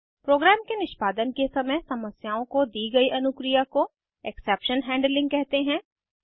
programme के निष्पादन के समय समस्याओं को दी गयी अनुक्रिया को एक्सेप्शन हैंडलिंग कहते हैं